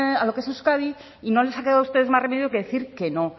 a lo que es euskadi y no les ha quedado a ustedes más remedio que decir que no